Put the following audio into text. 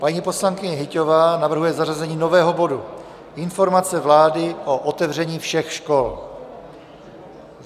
Paní poslankyně Hyťhová navrhuje zařazení nového bodu Informace vlády o otevření všech škol.